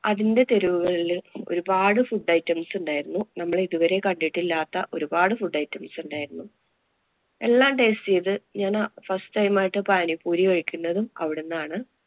അതിന്‍റെ തെരുവുകളില്‍ ഒരുപാട് food items ഉണ്ടായിരുന്നു. നമ്മള് ഇതുവരെ കണ്ടിട്ടില്ലാത്ത ഒരുപാട് food items ഉണ്ടായിരുന്നു. എല്ലാം taste ചെയ്ത് ഞാന് first time ആയിട്ട് പാനി പൂരി കഴിക്കുന്നത് അവിടുന്നാണ്.